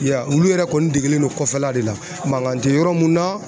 Ya olu yɛrɛ kɔni degelen don kɔfɛla de la mankan tɛ yɔrɔ mun na